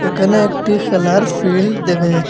এখানে একটি খেলার ফিল্ড দেখা যাচ--